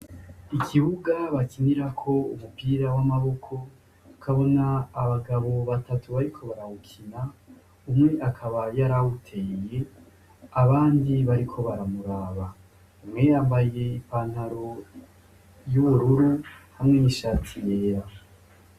Ikibuga bakinirako umupira w' amaboko, ukabona abagabo batatu bariko barawukina, umwe akaba yari awuteye abandi bariko barawuraba. Umwe yambaye i pantaro y'ubururu hamwe n'ishati yera.